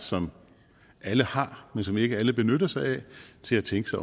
som alle har men som ikke alle benytter sig af til at tænke